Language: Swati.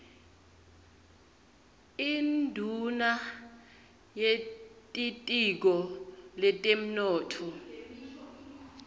induuna yetitiko letemnotfo